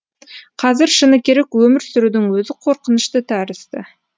қазір шыны керек өмір сүрудің өзі қорқынышты тәрізді